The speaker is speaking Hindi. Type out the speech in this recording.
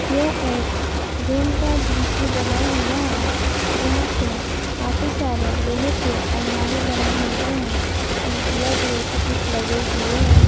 यह एक रूम का दृश्य बना हुआ है यहां पे काफी सारे लोहे के अलमारी बने हुए हैं इसमें ब्लैक कलर के कुछ लगे हुए हैं।